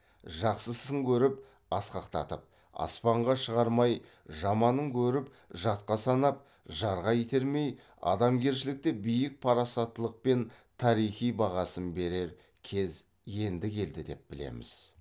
жақсысын көріп асқақтатып аспанға шығармай жаманын көріп жатқа санап жарға итермей адамгершілікті биік парасаттылықпен тарихи бағасын берер кез енді келді деп білеміз